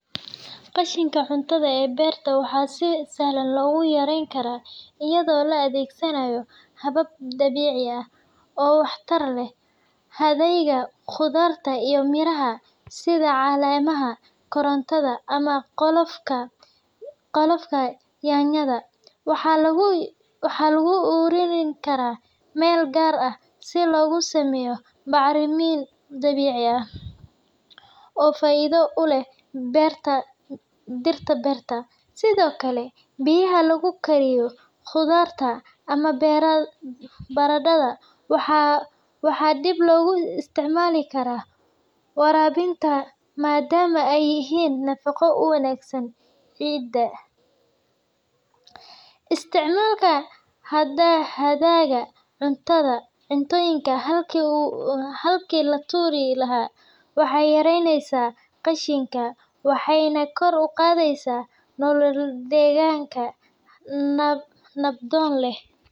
Qashinka cuntada ee beerta waxaa si sahlan lagu yareyn karaa iyadoo la adeegsanayo habab dabiici ah oo waxtar leh. Hadhaaga khudaarta iyo miraha, sida caleemaha karootada ama qolofka yaanyada, waxaa lagu ururin karaa meel gaar ah si looga sameeyo bacrimin dabiici ah oo faa’iido u leh dhirta beerta. Sidoo kale, biyaha lagu kariyo khudaarta ama baradhada waxaa dib loogu isticmaali karaa waraabinta, maadaama ay leeyihiin nafaqo u wanaagsan ciidda. Isticmaalka hadhaaga cuntooyinka halkii la tuuri lahaa waxay yaraynaysaa qashinka, waxayna kor u qaadaysaa nolol deegaan-nabdoon leh.